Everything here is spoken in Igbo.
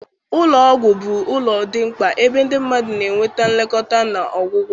Ụlọ ọgwụ bụ ụlọ dị mkpa ebe ndị mmadụ na-enweta nlekọta na ọgwụgwọ